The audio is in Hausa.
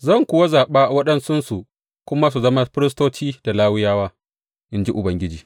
Zan kuwa zaɓa waɗansunsu kuma su zama firistoci da Lawiyawa, in ji Ubangiji.